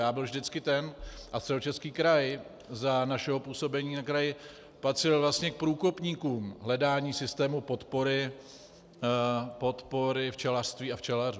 Já byl vždycky ten a Středočeský kraj za našeho působení na kraji patřil vlastně k průkopníkům hledání systému podpory včelařství a včelařů.